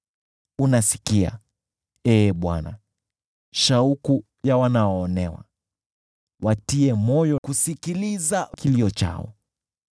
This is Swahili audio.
Unasikia, Ee Bwana , shauku ya wanaoonewa, wewe huwatia moyo, na kusikiliza kilio chao,